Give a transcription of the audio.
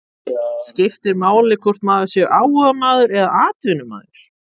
Skiptir máli hvort maður sé áhugamaður eða atvinnumaður?